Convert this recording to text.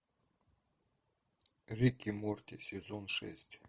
рик и морти сезон шесть